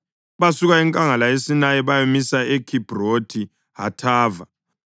Basuka enkangala yeSinayi bayamisa eKhibhrothi Hathava.